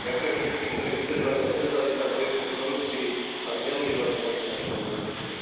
Ďakujem všetkým, ktorí vydržali a nevzdali sa v boji proti korupcii a zneužívaniu moci našimi politikmi.